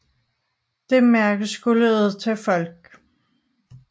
Det mærke skulle ud til folk